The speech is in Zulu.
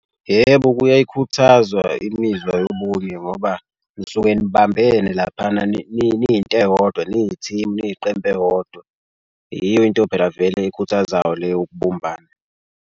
Yebo, kuyayikhuthazwa imizwa yobunye ngoba nisuke nibambene laphana niyinto eyodwa niyi-team niyiqembu eyodwa. Yiyo into phela vele ekhuthazayo leyo ukubumbana.